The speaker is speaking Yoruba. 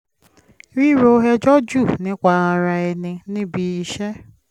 ríro ẹjọ́ jù nípa ara ẹni níbi iṣẹ́